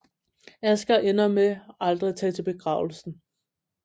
Asger ender med aldrig at tage til begravelsen